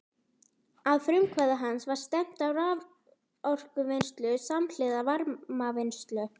Að frumkvæði hans var stefnt að raforkuvinnslu samhliða varmavinnslu.